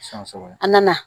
An nana